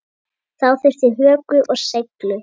Þá þurfti hörku og seiglu.